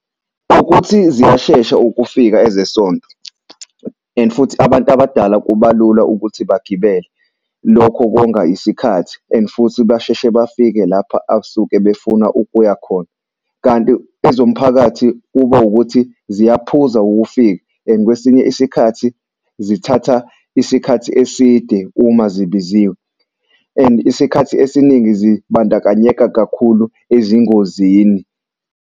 Ukuthi ziyashesha ukufika ezesonto and futhi abantu abadala kuba lula ukuthi bagibele. Lokho konga isikhathi and futhi basheshe bafike lapha asuke befuna ukuya khona. Kanti ezomphakathi kuba ukuthi ziyaphuza ukufika and kwesinye isikhathi zithatha isikhathi eside uma zibiziwe. And isikhathi esiningi zibandakanyeka kakhulu ezingozini.